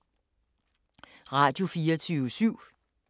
Radio24syv